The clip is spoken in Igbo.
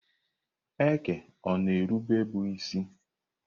Eke ọ-na erube bụ isi?